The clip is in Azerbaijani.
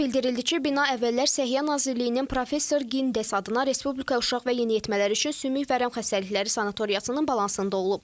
Qurumdan bildirildi ki, bina əvvəllər Səhiyyə Nazirliyinin professor Gindes adına Respublika Uşaq və Yeniyetmələr üçün Sümük Vərəm Xəstəlikləri Sanatoriyasının balansında olub.